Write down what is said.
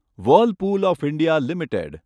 Whirlpool of India limited